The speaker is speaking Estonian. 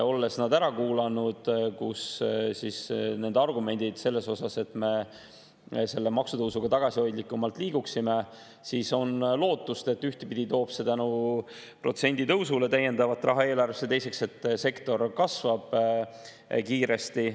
Olles ära kuulanud nende argumendid selle kohta, et me selle maksutõusuga tagasihoidlikumalt liiguksime, on lootust, et ühtpidi see toob tänu protsendi tõusule täiendavat raha eelarvesse ja teistpidi, et sektor kasvab kiiresti.